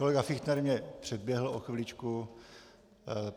Kolega Fichtner mě předběhl o chviličku.